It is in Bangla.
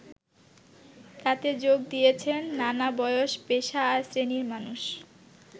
তাতে যোগ দিয়েছেন নানা বয়স, পেশা আর শ্রেণীর মানুষ।